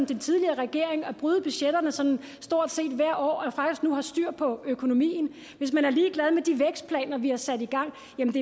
den tidligere regering er at bryde budgetterne sådan stort set hvert år og faktisk nu har styr på økonomien hvis man er ligeglad med de vækstplaner vi har sat i gang